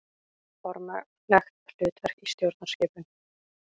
Formlegt hlutverk í stjórnskipun.